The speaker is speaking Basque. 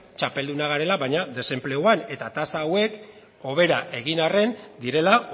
txapeldunak garela baina desenpleguan eta tasa hauek hobera egin arren direla